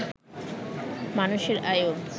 মানুষের আয়ু